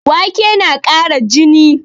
Wake tana ƙara jini